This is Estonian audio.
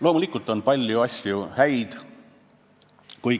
Loomulikult on ka palju häid asju.